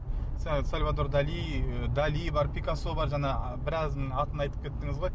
сальвадор дали дали бар пикассо бар жаңа біразының атын айтып кеттіңіз ғой